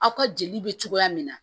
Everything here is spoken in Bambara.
Aw ka jeli bɛ cogoya min na